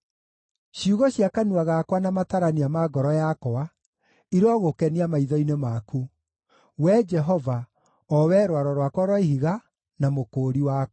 Ciugo cia kanua gakwa na matarania ma ngoro yakwa irogũkenia maitho-inĩ maku, Wee Jehova, o Wee Rwaro rwakwa rwa Ihiga, na Mũkũũri wakwa.